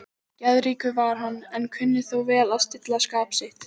Geðríkur var hann, en kunni þó vel að stilla skap sitt.